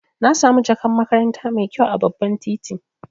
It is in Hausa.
Na samu jakan makaranta mai kyau a babban kanti.